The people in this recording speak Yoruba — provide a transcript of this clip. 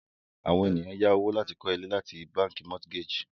àwọn ènìyàn yá owó láti kọ ile ni bánkì mortgage